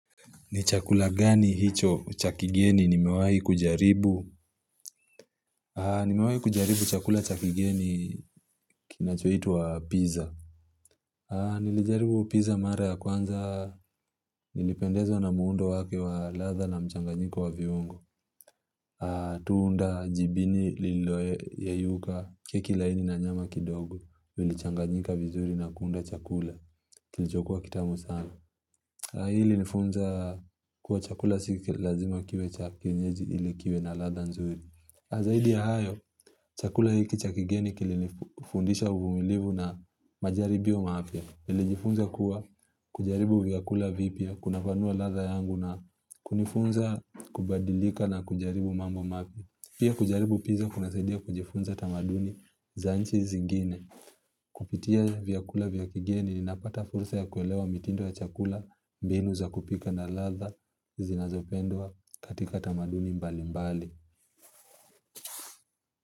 Ni chakula gani hicho cha kigeni ni mewai kujaribu? Ni mewai kujaribu chakula cha kigeni kinachoitwa pizza. Nilijaribu pizza mara ya kwanza nilipendezwa na muundo wake wa ladha na mchanganyiko wa viungo. Tuunda jibini liloyeyuka keki laini na nyama kidogo. Zilichanganyika vizuri na kuunda chakula kilichokua kitamu sana. Hii ilinifunza kuwa chakula siki lazima kiwe cha kinyezi ili kiwe na ladha nzuri. Zaidi ya hayo, chakula hiki cha kigeni kili nifundisha uvumilivu na majaribio mapya. Nilijiifunza kuwa kujaribu vyakula vipya, kunafanua ladha yangu na kunifunza kubadilika na kujaribu mambo mapya. Pia kujaribu piza kuna saidia kujifunza tamaduni za nchi zingine. Kupitia vyakula vya kigeni nnapata fursa ya kuelewa mitindo ya chakula mbinu za kupika na latha zinazopendwa katika tamaduni mbali mbali.